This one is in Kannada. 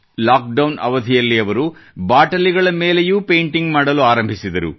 ಲಾಕ್ ಡೌನ್ ಅವಧಿಯಲ್ಲಿ ಅವರು ಬಾಟಲಿಗಳ ಮೇಲೆಯೂ ಪೇಂಟಿಂಗ್ ಮಾಡಲು ಪ್ರಾರಂಭಿಸಿದರು